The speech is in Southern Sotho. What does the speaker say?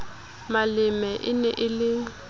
maleme e ne e le